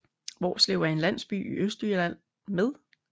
Hvorslev er en landsby i Østjylland med